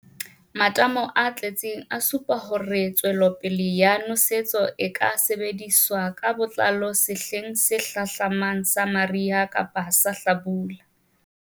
Matamo a tletseng a supa hore tswelopele ya nosetso e ka sebediswa ka botlalo sehleng se hlahlamang sa mariha kapa sa lehlabula.